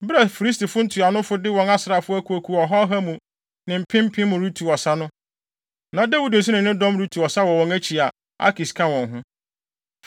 Bere a Filistifo ntuanofo de wɔn asraafo akuwakuw ɔha ɔha mu ne mpempem retu ɔsa no, na Dawid nso ne ne dɔm retu ɔsa wɔ wɔn akyi a, Akis ka wɔn ho.